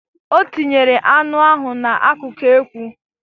O tinyere anụ ahụ n'akụkụ ekwu